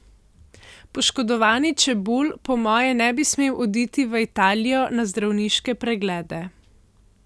Poškodovani Čebulj po moje ne bi smel oditi v Italijo na zdravniške preglede.